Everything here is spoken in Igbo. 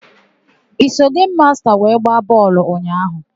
I so gemu masta wee gbaa bọọlụ ụnyaahụ?